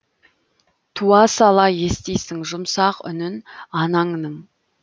туа сала естисің жұмсақ үнін анаңның